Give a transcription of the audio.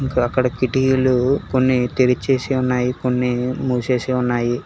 అక్కడ కిటికీలు కొన్ని తెరిచేసే ఉన్నాయి కొన్ని మూసేసి ఉన్నాయి.